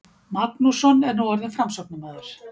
Magnússon er nú orðinn Framsóknarmaður.